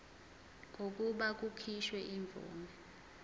kokuba kukhishwe imvume